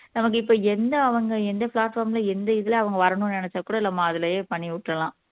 நமக்கு இப்ப எந்த அவங்க எந்த platform ல எந்த இதுல அவங்க வரணும்ன்னு நினைச்சா கூட நம்ம அதிலேயே பண்ணி விட்டுரலாம்